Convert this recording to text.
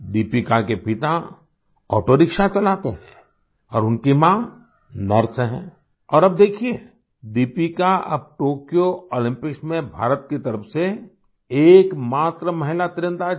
दीपिका के पिता ऑटोरिक्शा चलाते हैं और उनकी माँ नर्स हैं और अब देखिए दीपिका अब टोक्यो ओलम्पिक्स में भारत की तरफ से एकमात्र महिला तीरंदाज़ हैं